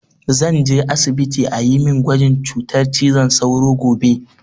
Zan je asibiti a yi min gwajin cutar cizon sauro gobe